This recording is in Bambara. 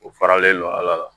O faralen don a la